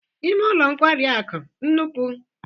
Ime ụlọ nkwari akụ nnukwu?